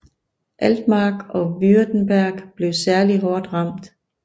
Altmark og Württemberg blev særlig hårdt ramt